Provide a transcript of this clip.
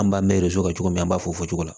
An b'an mɛ kɛ cogo min na an b'a fɔ o cogo la